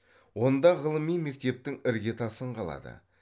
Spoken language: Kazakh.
онда ғылыми мектептің іргетасын қалады